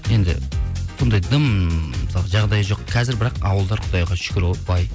енді ондай дым мысалы жағдайы жоқ қазір бірақ ауылдар құдайға шүкір ғой бай